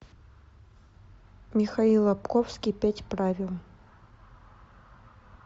михаил лабковский пять правил